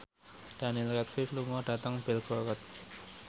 Daniel Radcliffe lunga dhateng Belgorod